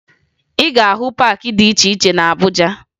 Ị ga-ahụ paakị dị iche iche na Abuja